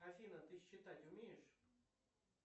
афина ты считать умеешь